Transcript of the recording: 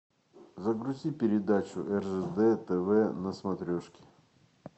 загрузи передачу ржд тв на смотрешке